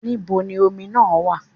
Níbo ni omi náà wà?